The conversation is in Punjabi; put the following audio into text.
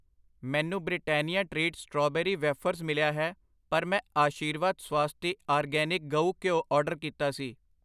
ਮੈਨੂੰ ਬ੍ਰਿਟੈਨਿਆ ਟ੍ਰੀਟ ਸਟ੍ਰਾਬੇਰੀ ਵੇਫਰਜ਼ ਮਿਲਿਆ ਹੈ ਪਰ ਮੈਂ ਆਸ਼ੀਰਵਾਦ ਸਵਾਸਤੀ ਆਰਗੈਨਿਕ ਗਊ ਘਿਓ ਆਰਡਰ ਕੀਤਾ ਸੀ ।